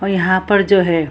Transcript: और यहां पर जो है।